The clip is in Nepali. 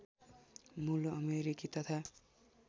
मूल अमेरिकी तथा